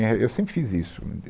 Né, Eu sempre fiz isso.